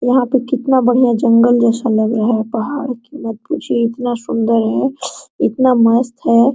यहाँ पे कितना बढ़िया जंगल जैसा लग रहा है पहाड़ की मत पूछिए इतना सुन्दर है इतना मस्त है।